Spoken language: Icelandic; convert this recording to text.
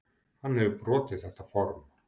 Hann hefur brotið þetta form.